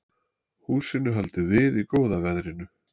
Húsinu haldið við í góða veðrinu